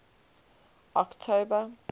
october